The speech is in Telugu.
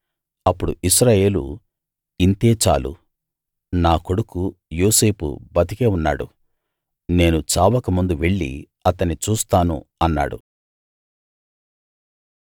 అప్పుడు ఇశ్రాయేలు ఇంతే చాలు నా కొడుకు యోసేపు బతికే ఉన్నాడు నేను చావక ముందు వెళ్ళి అతన్ని చూస్తాను అన్నాడు